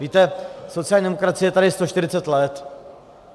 Víte sociální demokracie je tady 140 let.